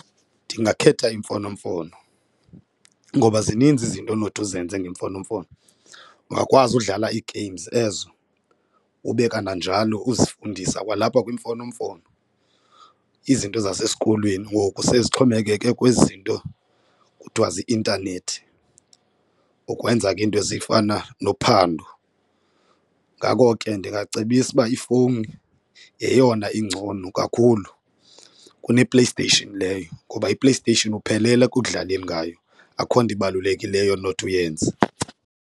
Ndingakhetha imfonomfono ngoba zininzi izinto onothi uzenze ngemfonomfono. Ungakwazi udlala ii-games ezo ube kananjalo uzifundise kwalapha kwimfonomfono izinto zasesikolweni. Ngoku sezixhomekeke kwizinto kuthwa zii-intanethi ukwenza ke iinto ezifana nophando. Ngako ke ndingacebisa uba ifowuni yeyona ingcono kakhulu kunePlayStation leyo ngoba iPlayStation uphelele ekudlaleni ngayo akukho nto ibalulekileyo onothi uyenze.